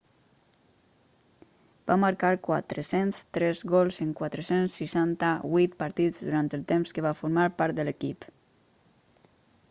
va marcar 403 gols en 468 partits durant el temps que va formar part de l'equip